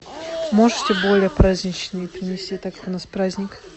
можете более праздничное принести так как у нас праздник